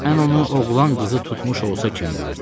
Mən onu oğlan qızı tutmuş olsa kimi bilirdim.